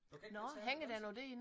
Du kan ikke betale med danske